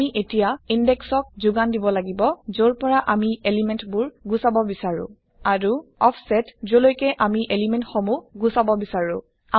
আমি এতিয়া Indexক যোগান দিব লাগিব যৰ পৰা আমি এলিমেন্ট বোৰ গুচাব বিচাৰো আৰু অফছেট যলৈকে আমি এলিমেন্ট সমুহ গুচাব বিচাৰো